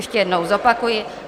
Ještě jednou zopakuji.